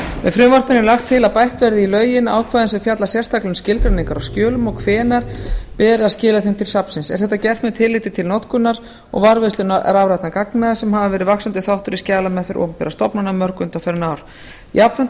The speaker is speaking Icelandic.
með frumvarpinu er lagt til að bætt verði í lögin ákvæðum sem fjalla sérstaklega um skilgreiningar á skjölum og hvenær beri að skila þeim til safnsins er þetta gert með tilliti til notkunar og varðveislu rafrænna gagna sem hafa verið vaxandi þáttur í skjalameðferð opinberra stofnana mörg undanfarin ár jafnframt er